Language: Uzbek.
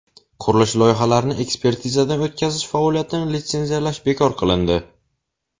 Qurilish loyihalarini ekspertizadan o‘tkazish faoliyatini litsenziyalash bekor qilindi.